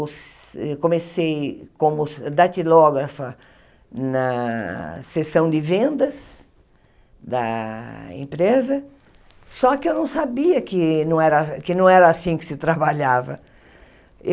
Come eu comecei como datilógrafa na sessão de vendas da empresa, só que eu não sabia que não era que não era assim que se trabalhava.